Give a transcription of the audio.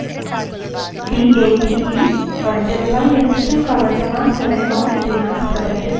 terminal में date command को type करें और enter दबायें